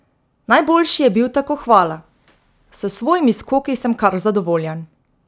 Najboljši je bil tako Hvala: "S svojimi skoki sem kar zadovoljen.